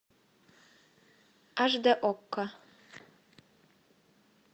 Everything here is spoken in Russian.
аш дэ окко